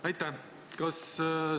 Aitäh!